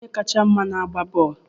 Kedu onye kacha mma agba bọọlụ?